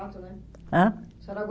Né? Hã? A senhora